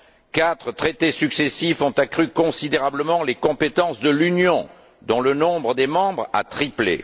Quatre traités successifs ont accru considérablement les compétences de l'Union, dont le nombre des membres a triplé.